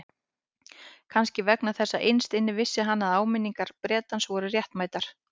Kannski vegna þess að innst inni vissi hann að áminningar Bretans voru réttmætar.